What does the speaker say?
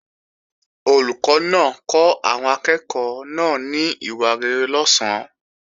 Olùkọ́ náà kọ́ àwọn akẹ́ẹ̀kọ́ náà ní ìwà rere lọ̀sán